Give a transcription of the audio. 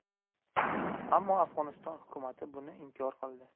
Ammo Afg‘oniston hukumati buni inkor qildi.